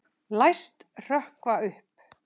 Læst hrökkva upp.